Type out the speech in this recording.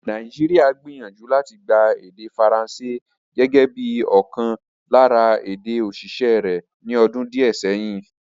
Nàìjíríà gbìyànjú láti gba èdè Faransé gẹ́gẹ́ bí i ọ̀kan lára èdè-òṣìṣẹ́ rẹ̀ ní ọdún díẹ̀ sẹ́yìn.